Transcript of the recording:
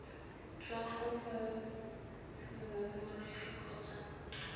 tswa go mo mongongoregi kgotsa